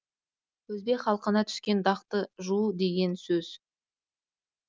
өзбек халқына түскен дақты жуу деген сөз